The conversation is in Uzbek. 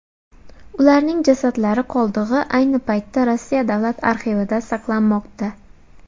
Ularning jasadlari qoldig‘i ayni paytda Rossiya davlat arxivida saqlanmoqda.